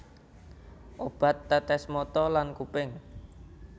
Obat tetes mata lan kuping